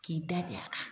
K'i da bi a kan